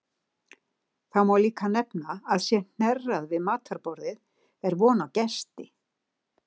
Þá má líka nefna að sé hnerrað við matarborðið er von á gesti.